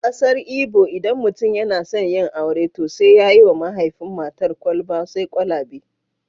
A kasar Igbo, idan mutum yana son yin aure, to sai ya yi wa mahaifin matar kwalba sai kwalabe